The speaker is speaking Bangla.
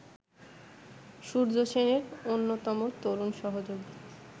সূর্যসেনের অন্যতম তরুণ সহযোগী